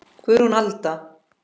Guðrún Alda.